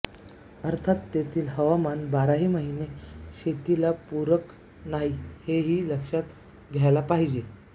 अर्थात तेथील हवामान बाराही महिने शेतीला पूरक नाही हेही लक्षात घ्यायला पाहिजे